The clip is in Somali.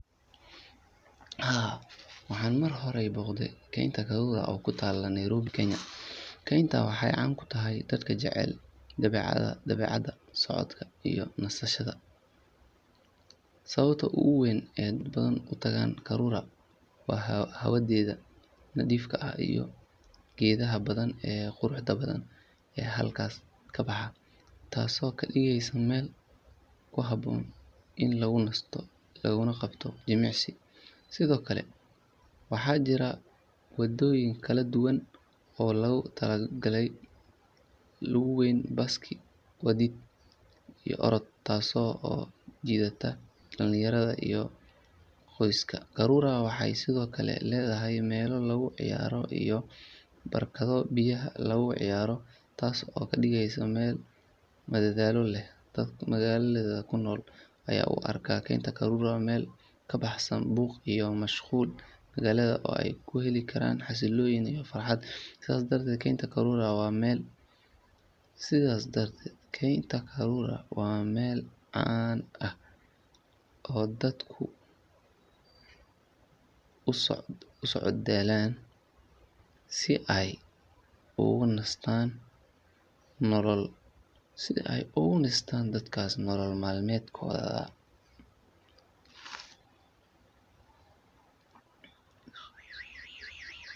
Haa, waxaan mar hore booqday Kaynta Karura oo ku taalla Nairobi, Kenya. Kayntan waxay caan ku tahay dadka jecel dabeecadda, socodka, iyo nasashada. Sababta ugu weyn ee dad badan u tagaan Karura waa hawadeeda nadiifka ah iyo geedaha badan ee quruxda badan ee halkaas ka baxa, taasoo ka dhigaysa meel ku habboon in lagu nasto laguna qabto jimicsi. Sidoo kale, waxaa jira waddooyin kala duwan oo loogu talagalay lugayn, baaskiil wadid, iyo orod, taasoo soo jiidata dhalinyarada iyo qoysaska. Karura waxay sidoo kale leedahay meelo lagu ciyaaro iyo barkado biyaha lagu ciyaaro, taas oo ka dhigaysa meel madadaalo leh. Dadka magaalada ku nool ayaa u arka Kaynta Karura meel ka baxsan buuqa iyo mashquulka magaalada oo ay ku heli karaan xasilooni iyo farxad. Sidaas darteed, Kaynta Karura waa meel caan ah oo dadku u socdaalaan si ay uga nastaan nolol maalmeedka.